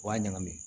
O b'a ɲagami